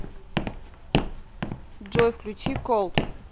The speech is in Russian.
джой включи колд